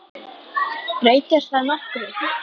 Breytir það nokkru?